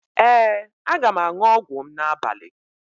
Ee, aga m aṅụ ọgwụ m n'abalị